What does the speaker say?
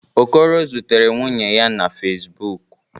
Okoro zutere nwunye ya na Fezbụk.